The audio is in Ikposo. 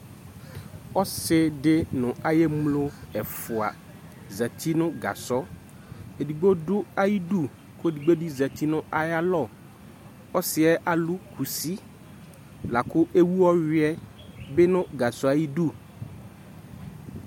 Ɔsɩdɩ nʋ ay'emlo ɛfʋa zati nʋ gasɔ Edigbo dʋ ayidu , k'edigbo bɩ zati nʋ ayalɔ Ɔsɩɛ alʋ kusi lakʋ ewu ɔyʋɛ bɩ nʋ gasɔɛ ayidu